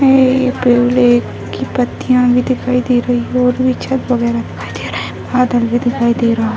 ये एक लेक की पत्तियाँ भी दिखाई दे रही है और ये छत वगैरा दिखाई दे रहा है बादल भी दिखाई दे रहा है।